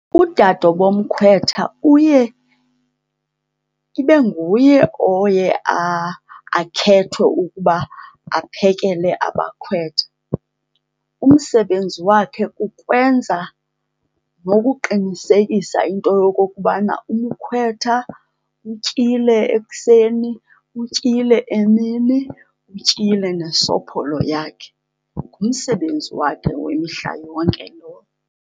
Udade womkhwetha uye ibe nguye oye akhethwe ukuba aphekele abakhwetha. Umsebenzi wakhe kukwenza nokuqinisekisa into yokokubana umkhwetha utyile ekuseni, utyile emini, utyile nesopholo yakhe. Ngumsebenzi wakhe wemihla yonke lowo.